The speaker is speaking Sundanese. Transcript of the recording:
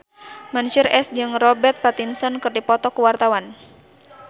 Mansyur S jeung Robert Pattinson keur dipoto ku wartawan